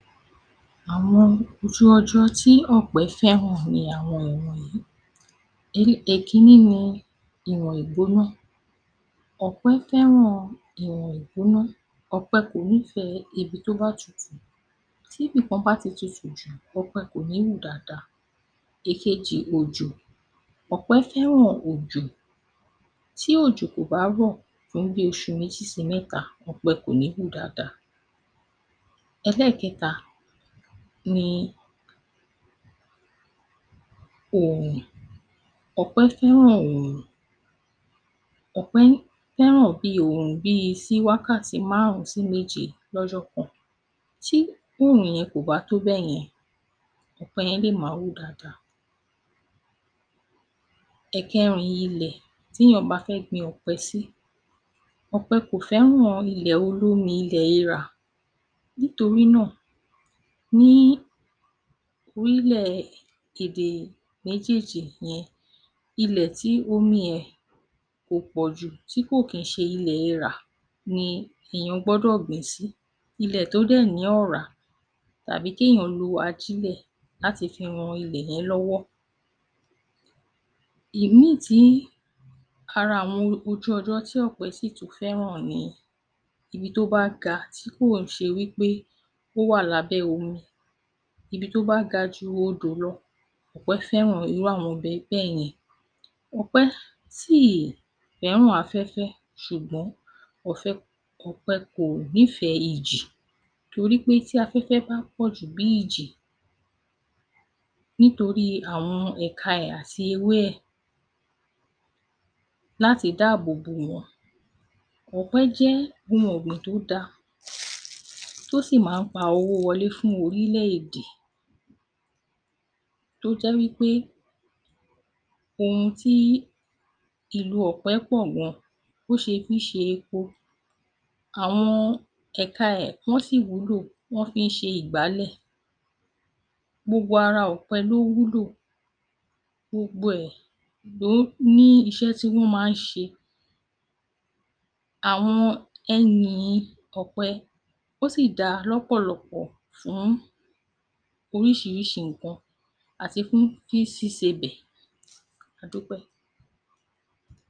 Àwọn ojú ọjọ́ tí ọ̀pẹ̀ fẹ́ràn ni àwọn ìwọ̀nyí: Èkínní ni ìwọ̀n ìgbóná: Ọ̀pẹ̀ fẹ́ràn ìwọ̀n ìgbóná, ọ̀pẹ̀ kò nífẹ̀ẹ́ ibi tí ó bá tutù, tí ibìkan bá ti tutù jù ọ̀pẹ̀ kò ní hù dáadáa. Èkejì òjò: Ọ̀pẹ̀ fẹ́ràn òjò, tí òjò kò bá rọ̀ fún bí oṣù méjì sí mẹ́ta ọ̀pẹ̀ kò ní hù dáadáa. Ẹlẹ́ẹ̀kẹta ni oòrùn: Ọ̀pẹ̀ fẹ́ràn oòrùn, ọ̀pẹ̀ fẹ́ràn bí oòrùn bíi sí wákàtí márùn-ún sí méje lọ́jọ́ kan, tí oòrùn yẹn kò bá tó bẹ́yẹn ọ̀pẹ̀ lè má hù dáadáa. Ẹ̀kẹrin ilẹ̀ tí èèyàn bá fẹ́ gbin ọ̀pẹ̀ sí: Ọ̀pẹ̀ kò fẹ́ràn ilẹ̀ olómi—llẹ̀ eèrà nítorí náà ní orí ilẹ̀ èdè méjèèjì yẹn ilẹ̀ tí omi rẹ̀ ò pọ̀ jù tí kìí ṣe ilẹ̀ eèrà ni èèyàn gbọ́dọ̀ gbìn-ín sì. Ilẹ̀ tí ó dẹ̀ ní ọ̀rá tàbí kí ènìyàn lo ajílẹ̀ láti fi ran ilẹ̀ yẹn lọ́wọ́. Ìmín-ìn tí ara àwọn ojú ọjọ́ tí ọ̀pẹ̀ sì tún fẹ́ràn ni ibi tí ó bá ga tí kò ṣe wí pé ó wà ní abẹ́ omi, ibi tí ó bá ga ju odò lọ, ọ̀pẹ̀ fẹ́ràn irú àwọn ibi bẹ́yẹn. Ọ̀pẹ̀ jẹ́ ohun ọ̀gbìn tí ó dáa tí ó sì máa pa owó wọlé fún orílẹ̀-èdè. Tó jẹ́ wí pé ohun tí ìlò ọ̀pẹ̀ pọ̀ gan, ó ṣe fi ṣe epo, awon ẹ̀ka rẹ̀ gan-an sì wúlò, wọ́n fi máa ń ṣe àwọn ìgbálẹ̀, gbogbo ara ọ̀pẹ̀ ló wúlò, gbogbo ẹ̀ ló ní iṣẹ́ tí wọ́n ń ṣe. Àwọn ẹyìn ọ̀pẹ̀ ó sì dáa lọ́pọ̀lọpọ̀ fún oríṣiríṣi nǹkan àti fún fi ṣíṣe ọbẹ̀. A dúpẹ́.